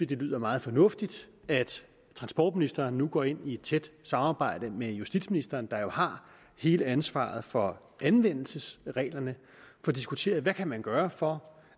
det lyder meget fornuftigt at transportministeren nu går ind i et tæt samarbejde med justitsministeren der jo har hele ansvaret for anvendelsesreglerne og få diskuteret hvad man kan gøre for